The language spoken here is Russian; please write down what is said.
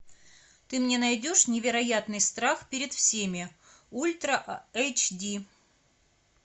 ты мне найдешь невероятный страх перед всеми ультра эйч ди